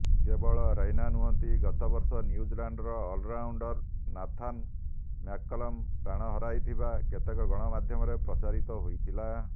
କେବଳ ରୈନା ନୁହନ୍ତି ଗତବର୍ଷ ନ୍ୟୁଜିଲାଣ୍ଡର ଅଲରାଉଣ୍ଡର ନାଥାନ୍ ମ୍ୟାକକଲମ୍ ପ୍ରାଣ ହରାଇଥିବା କେତେକ ଗଣମାଧ୍ୟମରେ ପ୍ରଚାରିତ ହୋଇଥିଲା